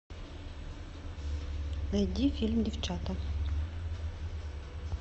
найди фильм девчата